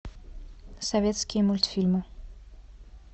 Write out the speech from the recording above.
советские мультфильмы